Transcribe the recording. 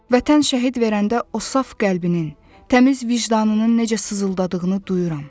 Vətən şəhid verəndə o saf qəlbinin, təmiz vicdanının necə sızıldadığını duyuram.